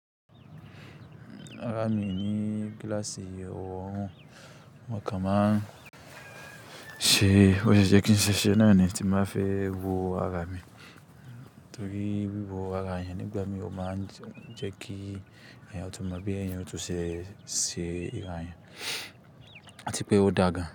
Rarà mi ni gíláàsì ọrun n, mo kọ máa ṣe, bó ti jẹ́ kí n ṣe ṣẹ́ náà ni tí máa fi wo àrà mi, tórí wí wo àrà yẹn ni ìgbà mí ó máa jẹ́ kí èèyàn tó máa bí èèyàn tó ṣe ṣi ìráyàn, àti pé ó dágan.